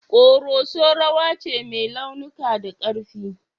Koroso rawa ce mai launuka da karfi.